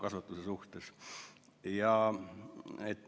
Varasem seisukoht oli maikuus.